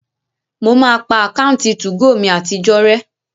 Mo máa pa àkáǹtì 2go mi àtijọ́ rẹ́